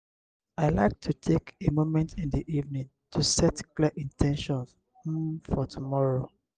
i like to take a moment in the evening to set clear in ten tions um for tomorrow.